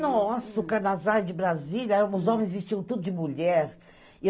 Nossa, o carnavais de Brasília, os homens vestiam tudo de mulher.